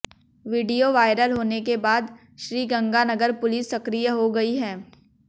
video viral होने के बाद श्रीगंगानगर पुलिस सक्रिय हो गई है